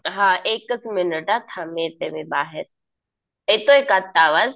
हा एकच मिनिट हा. थांब येते मी बाहेर. येतोय का आता आवाज.